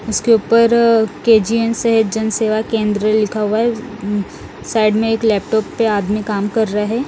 उसके ऊपर के_जी_एन सह जन सेवा केंद्र लिखा हुआ है उम्म साइड में एक लैपटॉप पे आदमी कम कर रहा है।